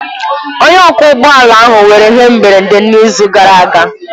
Onye ọkwọ ụgbọ ala ahụ nwere ihe mberede n'izu gara aga.